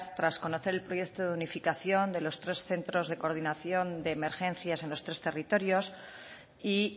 tras conocer el proyecto de unificación de los tres centros de coordinación de emergencias en los tres territorios y